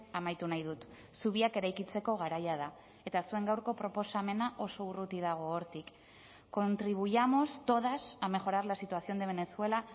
amaitu nahi dut zubiak eraikitzeko garaia da eta zuen gaurko proposamena oso urruti dago hortik contribuyamos todas a mejorar la situación de venezuela